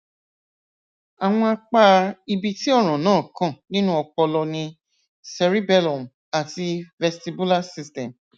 àwọn apá ibi tí ọràn náà kàn nínú ọpọlọ ni cerebellum àti vestibular system